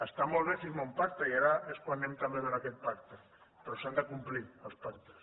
està molt bé signar un pacte i ara és quan anem també a veure aquest pacte però s’han de complir els pactes